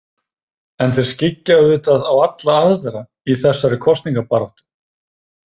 En þeir skyggja auðvitað á alla aðra í þessari kosningabaráttu.